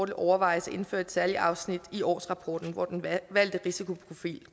kan overvejes at indføre et særligt afsnit i årsrapporten hvor den valgte risikoprofil